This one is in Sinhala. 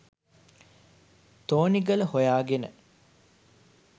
තෝනිගල හොයාගෙන.